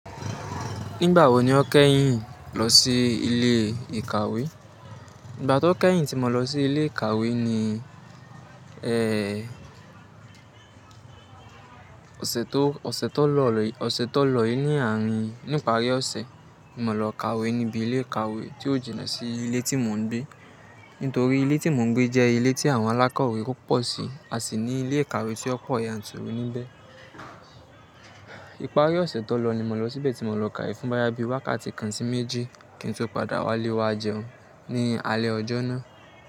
Nígbà wo ni o kẹ́yìn lọ sí ilé ìkàwé? Nígbà tó kẹ́yìn tí mo lọ sí ilé ìkàwé ni, ẹẹ́, ọ̀sẹ̀ tó, ọ̀sẹ̀ tó lọ, ọ̀sẹ̀ tó lọ yìí ní àárín. Ní ìparí ọ̀sẹ̀, ni mo lọ kàwé níbi ilé ìkàwé tí ò jìnà sí ilé tí mo ń gbé. Nítorí ilé tí mo ń gbé jẹ́ ilé tí àwọn alákọ̀wé tó pọ̀ sí a sì ní ilé ìkàwé tí ó pọ̀ yanturu níbẹ̀. Ìparí ọ̀sẹ̀ tó lọ ni mo lọ síbẹ̀ tí mo lọ kàwé fún bọ́yá bí i wákàtí kan sì méjì kí n tó padà wálé wa jẹun ní alẹ́ ọjọ́ náà.